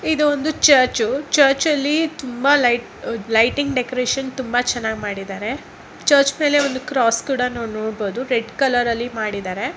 ಇದು ಒಂದು church church ಅಲ್ಲಿ ತುಂಬಾ ಲೈಟಿಂಗ್ ಡೆಕೋರೇಷನ್ ತುಂಬಾ ಚೆನ್ನಾಗಿ ಮಾಡಿದ್ದಾರೆ ಚರ್ಚ್ ಮೇಲೆ ಒಂದು ಕ್ರಾಸ್ ಕೂಡ ನೋಡಬಹುದು ರೆಡ್ ಕಲರ್ ಅಲ್ಲಿ ಮಾಡ್ದಿದರೆ.